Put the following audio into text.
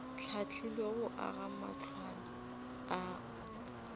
hlahlilwego go aga matlwana ao